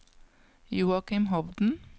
Joakim Hovden